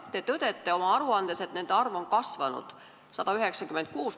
Te tõdete oma aruandes, et nende arv on kasvanud: 196.